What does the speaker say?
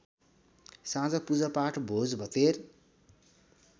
साँझ पूजापाठ भोजभतेर